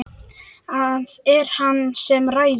Það er hann sem ræður.